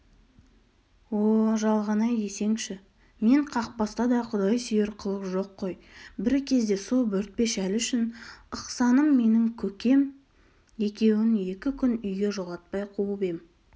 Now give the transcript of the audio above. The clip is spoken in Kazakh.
о жалған-ай десеңші мен қақпаста да құдай сүйер қылық жоқ қой бір кезде со бөртпе шәлі үшін ықсаным менің көкем екеуін екі күн үйге жолатпай қуып ем